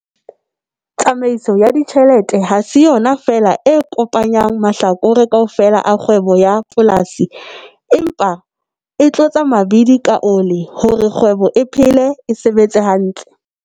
Tsamaiso ya ditjhelete hase yona feela e kopanyang mahlakore kaofela a kgwebo ya polasi, empa e "tlotsa mabidi ka ole" hore kgwebo e phele, e sebetse hantle.